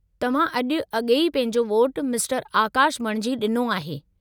तव्हां अॼु अॻेई पंहिंजो वोटु मिस्टरु आकाशु बणिजी डि॒नो आहे।